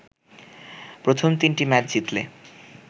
প্রথম তিনটি ম্যাচ জিতলে